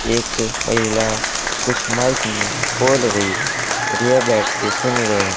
एक महिला कुछ माइक में बोल रही है और यह बैठ के सुन रहे--